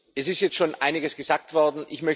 Es ist jetzt schon einiges gesagt worden.